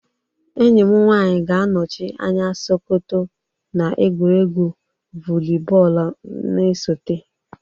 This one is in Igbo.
Enyi m nwanyi ga-anọchi anya sokoto na egwuregwu vuli bọọlụ na-esote.